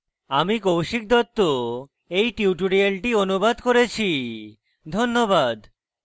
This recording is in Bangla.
আমি কৌশিক দত্ত এই টিউটোরিয়ালটি অনুবাদ করেছি ধন্যবাদ